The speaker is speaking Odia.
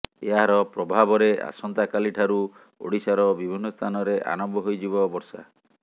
ଏହାର ପ୍ରଭାବରେ ଆସନ୍ତାକାଲି ଠାରୁ ଓଡ଼ିଶାର ବିଭିନ୍ନ ସ୍ଥାନରେ ଆରମ୍ଭ ହୋଇଯିବ ବର୍ଷା